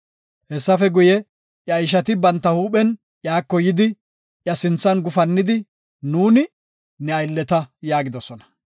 Hessafe guye, iya ishati banta huuphen iyako yidi, iya sinthan gufannidi, “Nuuni, ne aylleta” yaagidosona.